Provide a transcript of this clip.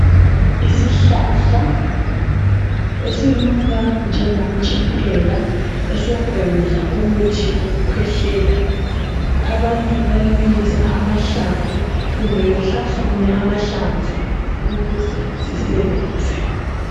Isihlahla esinuka njengomtshiphela esokwenza umuthi wokukhwehlela. Abantu bayabilisa amahlamvu kumbe behlafune amahlamvu ukuze sisebenze.